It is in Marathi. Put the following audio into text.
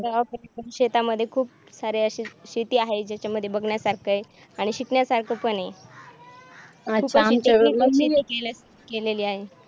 शेतामध्ये खूप सारे असे शेती आहे त्याच्यामध्ये बघण्यासारखा आहे आणि शिकण्यासारखं पण आहे केलेली आहे